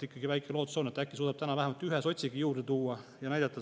Ikkagi väike lootus on, et äkki ta suudab täna vähemalt ühe sotsigi juurde tuua ja näidata …